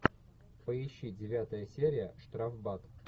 поищи девятая серия штрафбат